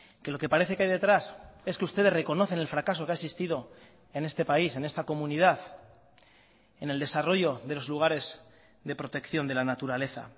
que lo que parece que hay detrás es que ustedes reconocen el fracaso que ha existido en este país en esta comunidad en el desarrollo de los lugares de protección de la naturaleza